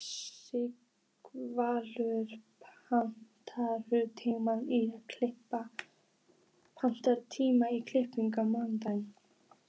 Sighvatur, pantaðu tíma í klippingu á mánudaginn.